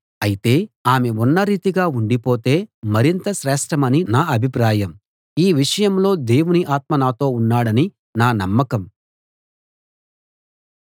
అయితే ఆమె ఉన్న రీతిగా ఉండిపోతే మరింత శ్రేష్ఠమని నా అభిప్రాయం ఈ విషయంలో దేవుని ఆత్మ నాతో ఉన్నాడని నా నమ్మకం